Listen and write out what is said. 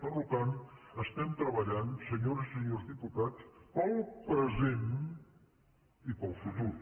per tant estem treballant senyores i senyors diputats pel present i pel futur